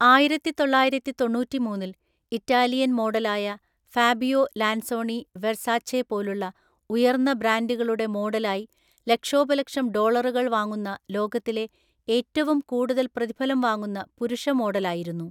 ആയിരത്തിതൊള്ളായിരത്തിതൊണ്ണൂറ്റിമൂന്നില്‍ Italian മോഡലായ Fabio Lanzoni Versace പോലുള്ള ഉയർന്ന ബ്രാൻഡുകളുടെ മോഡലായി ലക്ഷോപലക്ഷം ഡോളറുകൾ വാങ്ങുന്ന ലോകത്തിലെ ഏറ്റവും കൂടുതൽ പ്രതിഫലം വാങ്ങുന്ന പുരുഷ മോഡലായിരുന്നു.